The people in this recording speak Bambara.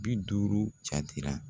Bi duuru jatera.